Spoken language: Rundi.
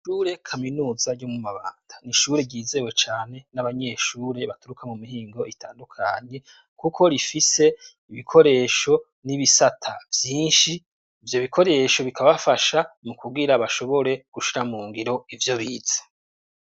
Shure kaminuza ryo mu mabanda ni ishure ryizewe cane n'abanyeshure baturuka mu mihingo itandukanye, kuko rifise ibikoresho n'ibisata vyinshi ivyo bikoresho bikabafasha mu kuwira bashobore gushira mu ngiro ivyo biza.